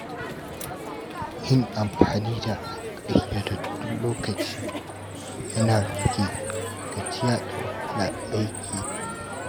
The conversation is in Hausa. Yin amfani da ƙayyadaddun lokaci yana rage gajiya da wahalar aiki.